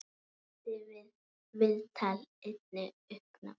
Vakti það viðtal einnig uppnám.